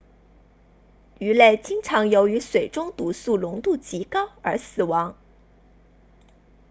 鱼类经常由于水中毒素浓度极高而死亡